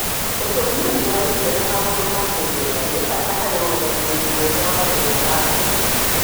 ũtũmĩri wa irio na maũndũ ma kĩmbeca nĩ bata harĩ ũrũgamĩrĩri mwega wa mũgũnda wa ngũkũ.